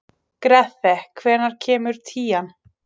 Grethe, hvenær kemur tían?